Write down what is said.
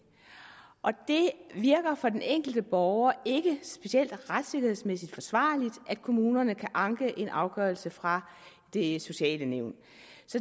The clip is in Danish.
virker for den enkelte borger ikke specielt retssikkerhedsmæssigt forsvarligt at kommunerne kan anke en afgørelse fra det sociale nævn